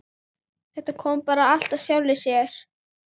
Þetta kom bara allt af sjálfu sér.